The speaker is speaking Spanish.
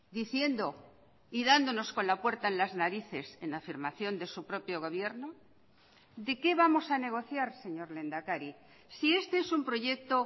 diciendo y dándonos con la puerta en las narices en la afirmación de su propio gobierno de qué vamos a negociar señor lehendakari si este es un proyecto